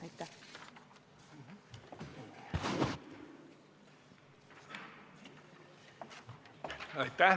Aitäh!